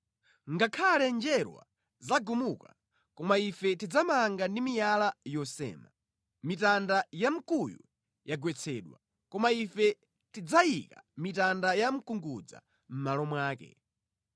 “Ngakhale njerwa zagumuka, koma ife tidzamanga ndi miyala yosema. Mitanda ya mkuyu yagwetsedwa, koma ife tidzayika mitanda ya mkungudza mʼmalo mwake.”